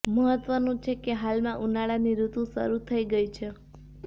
મહત્વનું છે કે હાલમાં ઉનાળાની ઋતુ શરૂ થઇ ગઇ છે